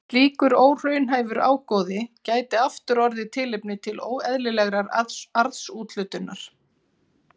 Slíkur óraunhæfur ágóði gæti aftur orðið tilefni til óeðlilegrar arðsúthlutunar.